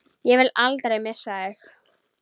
Ég vil aldrei missa þig.